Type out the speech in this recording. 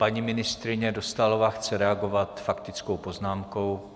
Paní ministryně Dostálová chce reagovat faktickou poznámkou.